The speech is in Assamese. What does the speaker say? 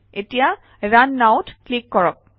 এতিয়া ৰুণ Now ত ক্লিক কৰক